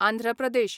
Andhra Pradesh